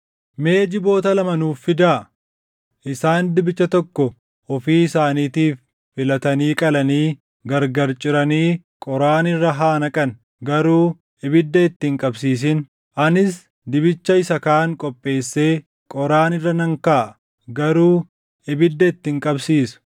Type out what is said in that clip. Mee jiboota lama nuuf fidaa. Isaan dibicha tokko ofii isaaniitiif filatanii qalanii gargar ciranii qoraan irra haa naqan; garuu ibidda itti hin qabsiisin. Anis dibicha isa kaan qopheessee qoraan irra nan kaaʼa; garuu ibidda itti hin qabsiisu.